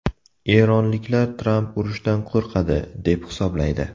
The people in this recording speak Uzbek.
Eronliklar Tramp urushdan qo‘rqadi, deb hisoblaydi.